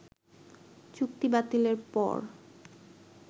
চুক্তিবাতিলের পর